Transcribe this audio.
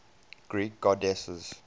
greek goddesses